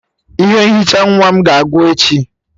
Ihe nhicha nwa m ga-agwụ echi.